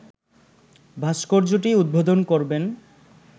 ভাস্কর্যটি উদ্বোধন করবেন